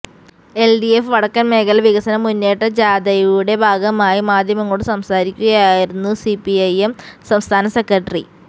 LDF വടക്കൻ മേഖല വികസന മുന്നേറ്റ ജാഥയുടെ ഭാഗമായി മാധ്യമങ്ങളോട് സംസാരിക്കുകയായിരുന്നു സിപിഐഎം സംസ്ഥാന സെകട്ടറി